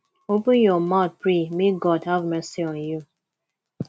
open your mouth pray make god have mercy on you